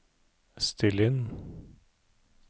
still inn